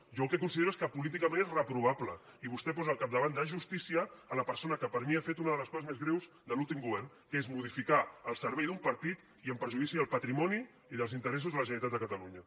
jo el que considero és que políticament és reprovable i vostè posa al capdavant de justícia la persona que per mi ha fet una de les coses més greus de l’últim govern que és modificar al servei d’un partit i en perjudici del patrimoni i els interessos de la generalitat de catalunya